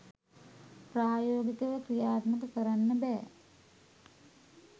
ප්‍රායෝගිකව ක්‍රියාත්මක කරන්න බෑ